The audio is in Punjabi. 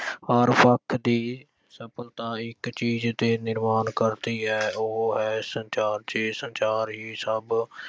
ਹਰ ਵਰਗ ਦੀ ਸਫਲਤਾ ਇੱਕ ਚੀਜ ਤੇ ਨਿਰਵਾਨ ਕਰਦੀ ਹੈ ਉਹ ਹੈ ਸੰਚਾਰ ਜੇ ਸੰਚਾਰ ਹੀ ਸਭ ਅਹ